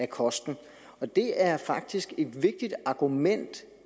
kosten det er faktisk et vigtigt argument